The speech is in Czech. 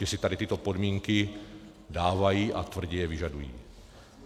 Že si tady tyto podmínky dávají a tvrdě je vyžadují.